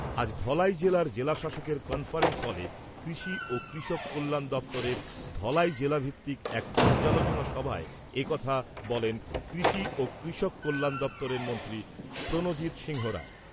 আজ ধলাই জেলার জেলাশাসকের কনফারেন্স হলে কৃষি ও কৃষক কল্যাণ দপ্তরের ধলাই জেলাভিত্তিক এক পর্যালোচনা সভায় একথা বলেন কৃষি ও কৃষক কল্যাণ দপ্তরের মন্ত্রী প্রণজিৎ সিংহরায়।